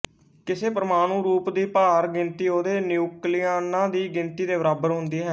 ਕਿਸੇ ਪਰਮਾਣੂ ਰੂਪ ਦੀ ਭਾਰ ਗਿਣਤੀ ਉਹਦੇ ਨਿਊਕਲੀਆਨਾਂ ਦੀ ਗਿਣਤੀ ਦੇ ਬਰਾਬਰ ਹੁੰਦੀ ਹੈ